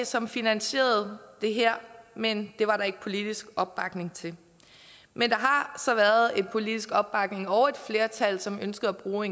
som finansierede det her men det var der ikke politisk opbakning til men der har så været politisk opbakning til og et flertal som ønskede at bruge